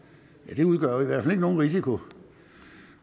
og det udgør i hvert fald ikke nogen risiko